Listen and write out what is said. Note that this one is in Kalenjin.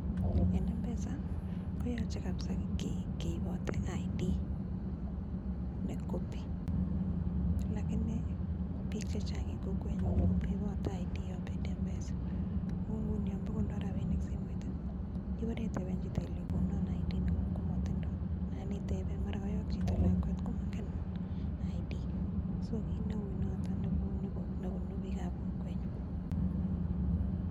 En M-Pesa koyoche kabisa keibote ID ne copy lakini biik che chang en kokwenyun komoibote ID yon bendi M-Pesa. Kou nguni yon bo kondo rabinik simoit ii, ibore iteben chito ilenchi konon ID neng'ung komotindo nan iteben , mara koyok chito lakwet, komongen ID so kit neu noto nebune biikab kokwenyu.